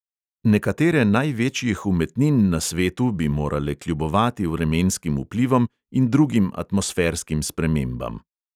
Nekatere največjih umetnin na svetu bi morale kljubovati vremenskim vplivom in drugim atmosferskim spremembam.